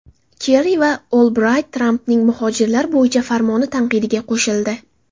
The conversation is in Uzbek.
Kerri va Olbrayt Trampning muhojirlar bo‘yicha farmoni tanqidiga qo‘shildi.